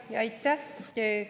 Aitäh!